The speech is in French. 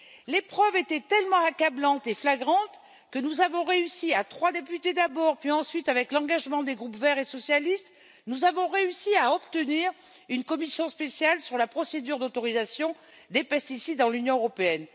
Les preuves étaient tellement accablantes et flagrantes que nous avons réussi, à trois députés d'abord, puis avec l'engagement des groupes des Verts et des socialistes, à obtenir une commission spéciale sur la procédure d'autorisation des pesticides dans l'Union européenne.